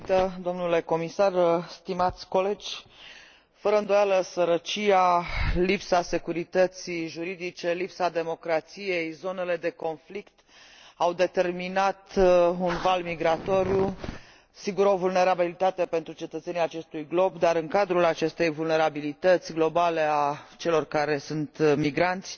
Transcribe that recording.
Mulțumesc doamnă președintă, domnule comisar, stimați colegi. Fără îndoială, sărăcia, lipsa securității juridice, lipsa democrației și zonele de conflict au determinat un val migrator. Sigur, o vulnerabilitate pentru cetățenii acestui glob, iar în cadrul acestei vulnerabilități globale a celor care sunt migranți,